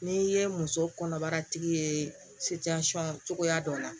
N'i ye muso kɔnɔbara tigi ye cogoya dɔ la